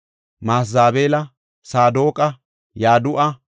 Masezabeela, Saadoqa, Yadu7a,